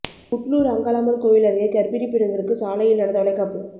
புட்ளூர் அங்காளம்மன் கோயில் அருகே கர்ப்பிணி பெண்களுக்கு சாலையில் நடந்த வளைகாப்பு